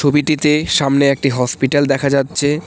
ছবিটিতে সামনে একটি হসপিটাল দেখা যাচ্ছে।